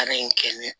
Baara in kɛ ne